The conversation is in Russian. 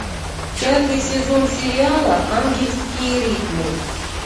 пятый сезон сериала ангельские ритмы